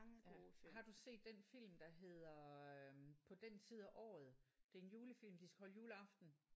Ja har du set den film der hedder øh på den tid af året det er en julefilm de skal holde juleaften